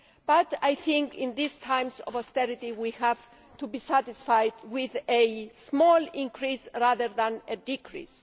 but I think in these times of austerity we have to be satisfied with a small increase rather than a decrease.